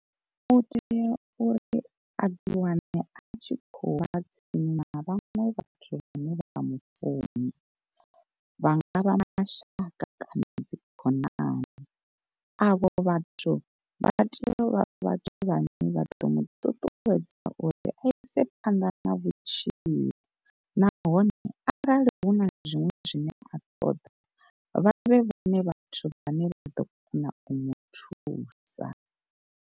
U tea uri a ḓi wane a tshikho u vha tsini na vhaṅwe vhathu vhane vha mufuna, vha nga vha mashaka kana dzikhonani. Avho vhathu vha tea u vha vhathu vhane vha ḓo mu ṱuṱuwedza uri a ise phanḓa na vhutshilo. Nahone arali hu na zwiṅwe zwine a ṱoḓa vha vhe vhone vhathu vhane vha ḓo kona u mu thusa.